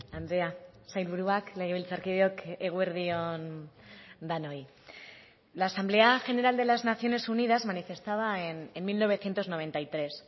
andrea sailburuak legebiltzarkideok eguerdi on denoi la asamblea general de las naciones unidas manifestaba en mil novecientos noventa y tres